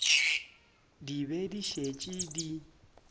di be di šetše di